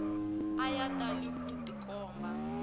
a ya tali ku tikomba